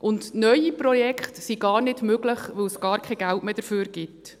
Und neue Projekte sind gar nicht möglich, da es dafür gar kein Geld mehr gibt.